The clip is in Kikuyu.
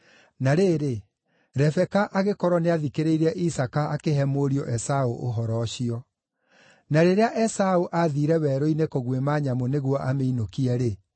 Na rĩrĩ, Rebeka agĩkorwo nĩathikĩrĩirie Isaaka akĩhe mũriũ Esaũ ũhoro ũcio. Na rĩrĩa Esaũ aathiire werũ-inĩ kũguĩma nyamũ nĩguo amĩinũkie-rĩ,